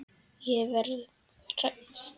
Ég verð hrædd.